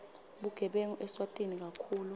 bugebengu eswatini kakhulu